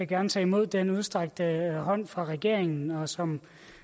gerne tage imod den udstrakte hånd fra regeringen som